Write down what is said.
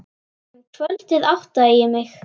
Um kvöldið áttaði ég mig.